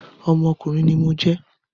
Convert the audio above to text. Ọmọkùnrin ní mo jẹ́